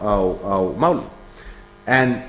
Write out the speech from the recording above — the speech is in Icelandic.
á þessum málum en